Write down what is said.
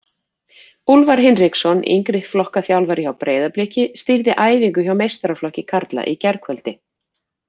Úlfar Hinriksson, yngri flokka þjálfari hjá Breiðabliki, stýrði æfingu hjá meistaraflokki karla í gærkvöldi.